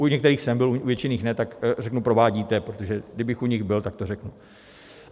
U některých jsem byl, u většiny ne, tak řeknu provádíte, protože kdybych u nich byl, tak to řeknu.